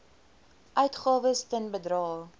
uitgawes ten bedrae